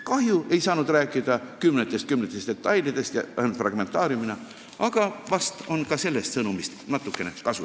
Kahju, et ma ei saanud rääkida kümnetest detailidest ja käsitlesin teemat ainult fragmentaariumina, aga vahest on ka sellest natukene kasu.